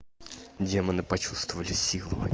демоны почувствовали себя